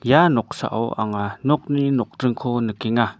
ia noksao anga nokni nokdringko nikenga.